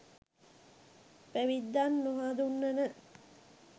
පැවිද්දන් නොහඳුනන